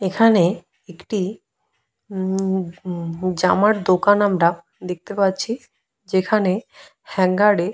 এখানে একটি উম-ম-উম-ম জামার দোকান আমরা দেখতে পাচ্ছি যেখানে হ্যাঙ্গারে --